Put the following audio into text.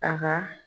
A ka